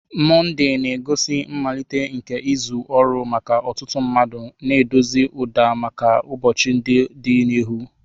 Monday na-egosi mmalite nke izu ọrụ maka ọtụtụ mmadụ, na-edozi ụda maka ụbọchị ndị dị n'ihu.